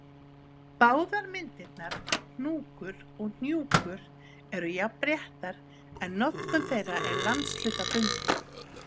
Báðar myndirnar, hnúkur og hnjúkur, eru jafn réttar en notkun þeirra er landshlutabundin.